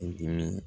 I dimin